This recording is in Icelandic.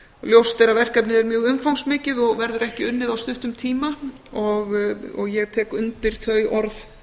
ljóst er að verkefnið er mjög umfangsmikið og verður ekki unnið á stuttum tíma og ég tek undir þau orð